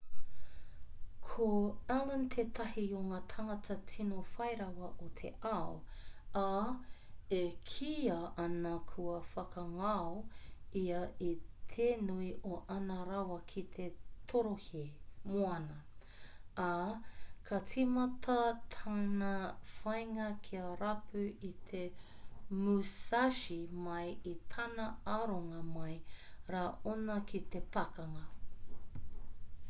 ko allen tētahi o ngā tangata tino whai rawa o te ao ā e kīia ana kua whakangao ia i te nui o āna rawa ki te torohē moana ā ka tīmata tana whāinga kia rapu i te musashi mai i tana aronga mai rā anō ki te pakanga